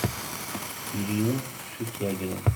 ирину сутягину